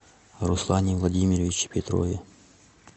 руслане владимировиче петрове